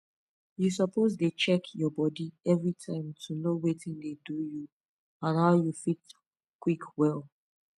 you suppose dey check your body everytime to know watin dey do you and how you fit quick well